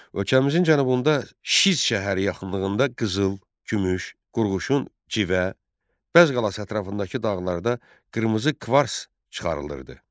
Ölkəmizin cənubunda Şiz şəhəri yaxınlığında qızıl, gümüş, qurğuşun, civə, Bəzz qalas ətrafındakı dağlarda qırmızı kvarts çıxarılırdı.